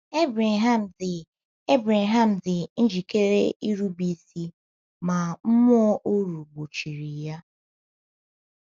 Ebreham dị Ebreham dị njikere irube isi ma mmụọ oru gbochiri ya.